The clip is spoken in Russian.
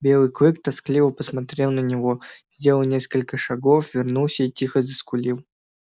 белый клык тоскливо посмотрел на него сделал несколько шагов вернулся и тихо заскулил